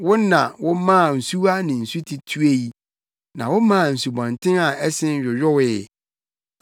Wo na womaa nsuwa ne nsuti tuei; na womaa nsubɔnten a ɛsen yoyowee.